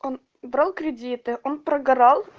он брал кредиты он прогорал